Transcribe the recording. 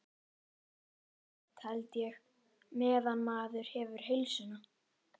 Ágætt held ég. meðan maður hefur heilsuna.